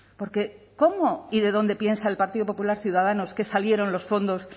porque cómo y de dónde piensa el partido popular ciudadanos que salieron los fondos